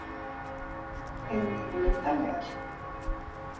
Erum við ekki myndarlegar?